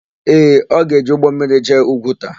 Ee, ọ ga-eji ụgbọmmiri jee Ugwuta.